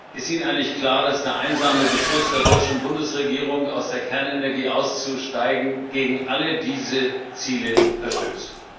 Ist Ihnen eigentlich klar, dass der einsame Beschluss der deutschen Bundesregierung, aus der Kernenergie auszusteigen, gegen alle diese Ziele verstößt?